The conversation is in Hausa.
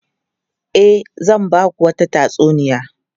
E, zan ba ku wata tatsuniya.